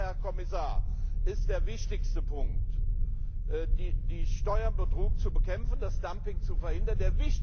Und deshalb, Herr Kommissar, ist der wichtigste Punkt, den Steuerbetrug zu bekämpfen, das Dumping zu verhindern.